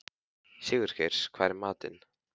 Sigurgeir, hvað er í matinn?